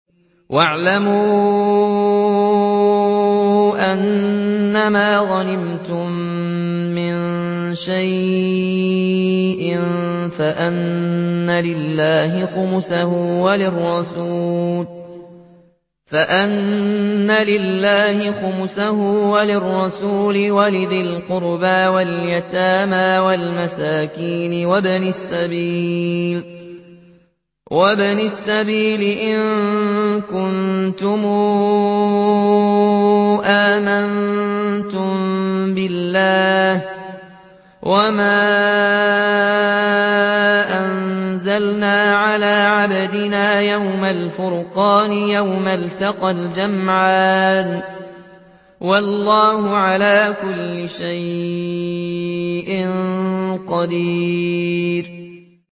۞ وَاعْلَمُوا أَنَّمَا غَنِمْتُم مِّن شَيْءٍ فَأَنَّ لِلَّهِ خُمُسَهُ وَلِلرَّسُولِ وَلِذِي الْقُرْبَىٰ وَالْيَتَامَىٰ وَالْمَسَاكِينِ وَابْنِ السَّبِيلِ إِن كُنتُمْ آمَنتُم بِاللَّهِ وَمَا أَنزَلْنَا عَلَىٰ عَبْدِنَا يَوْمَ الْفُرْقَانِ يَوْمَ الْتَقَى الْجَمْعَانِ ۗ وَاللَّهُ عَلَىٰ كُلِّ شَيْءٍ قَدِيرٌ